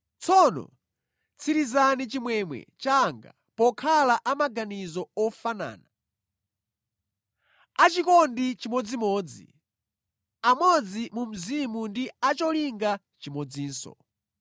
tsono tsirizani chimwemwe changa pokhala amaganizo ofanana, achikondi chimodzimodzi, amodzi mu mzimu ndi acholinga chimodzinso.